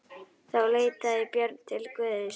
Þá leitaði Björn til Guðs.